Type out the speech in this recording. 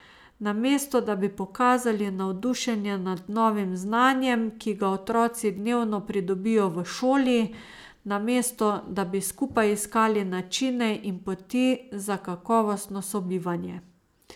Namesto da bi pokazali navdušenje nad novim znanjem, ki ga otroci dnevno pridobijo v šoli, namesto da bi skupaj iskali načine in poti za kakovostno sobivanje ...